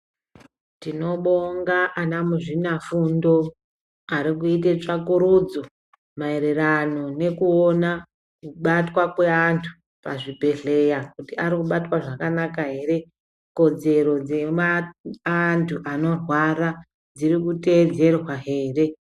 Tinobonga ana muzvinafundo, ari kuyite tsvakurudzo mayererano nekuona kubatwa kweantu pazvibhedhleya, kuti ari kubatwa zvakanaka ere, kodzero dzemaantu anorwara, dziri kuteyedzerwa here.